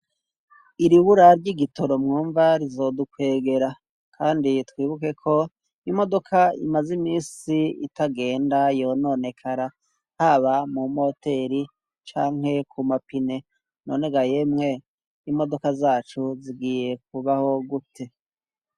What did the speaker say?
Iribura ry' igitoro mwumva rizodukwegera, kandi twibukeko imodoka imaze imisi itagenda yononekara haba mu moteri canke ku mapine none ga yemwe imodoka zacu zigiye kubaho gute.